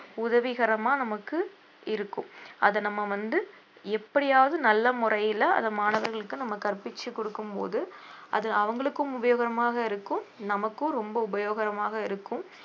உதவிகரமா நமக்கு இருக்கும் அதை நம்ம வந்து எப்படியாவது நல்ல முறையில அதை மாணவர்களுக்கு நம்ம கற்பிச்சு கொடுக்கும் போது அது அவுங்களுக்கும் உபயோகமாக இருக்கும் நமக்கும் ரொம்ப உபயோகமாக இருக்கும்